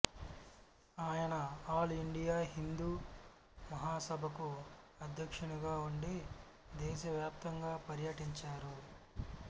ఆయన all India Hindu Mahasabha కు అధ్యక్షునిగా ఉండి దేశ వ్యాప్తంగా పర్యటించరు